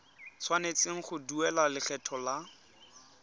tshwanetse go duela lekgetho la